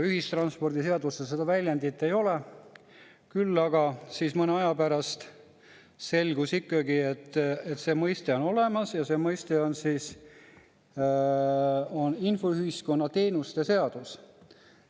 Ühistranspordiseaduses seda väljendit ei ole, küll aga mõne aja pärast selgus ikkagi, et see mõiste on olemas, ja see mõiste on "infoühiskonna seadus".